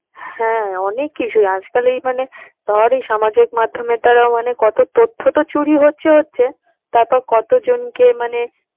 হ্যাঁ অনেক কিছুই আজকাল এই মানে ধর এই সামাজিক মাধ্যমের দ্বারা মানে কত তথ্য তো চুরি হচ্ছে হচ্ছে, তারপর কতজনকে মানে